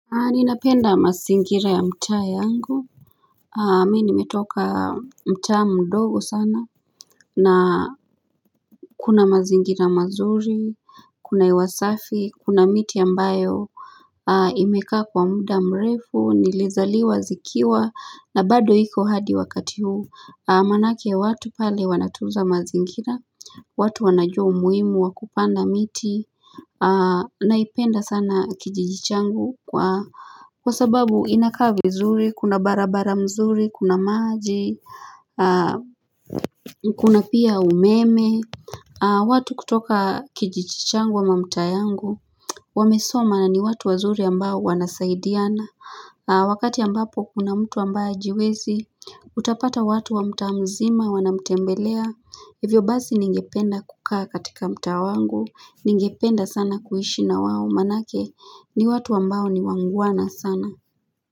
Ninapenda mazingira ya mtaa yangu Mimi nimetoka mtaa mdogo sana na kuna mazingira mazuri Kuna hewa safi kuna miti ambayo Imekaa kwa muda mrefu nilizaliwa zikiwa na bado iko hadi wakati huu maanake watu pale wanatunza mazingira watu wanajua umuhimu wa kupanda miti Naipenda sana kijiji changu kwa kwa sababu inakaa vizuri, kuna barabara mzuri, kuna maji, kuna pia umeme watu kutoka kijiji changu ama mtaa yangu Wamesoma na ni watu wazuri ambao wanasaidiana Wakati ambapo kuna mtu ambaye hajiwezi Utapata watu wa mtaa mzima wanamtembelea. Hivyo basi ningependa kukaa katika mtaa wangu. Ningependa sana kuishi na wao maanake ni watu ambao ni wangwana sana.